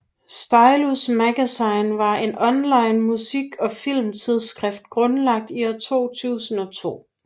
Stylus Magazine var en online musik og film tidsskrift grundlagt i år 2002